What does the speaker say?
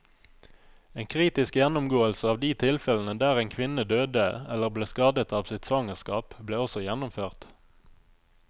En kritisk gjennomgåelse av de tilfellene der en kvinne døde eller ble skadet av sitt svangerskap, ble også gjennomført.